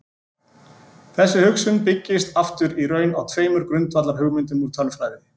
Þessi hugsun byggist aftur í raun á tveimur grundvallarhugmyndum úr tölfræði.